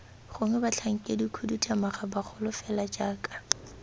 gongwe batlhankedikhuduthamaga bagolo fela jaaka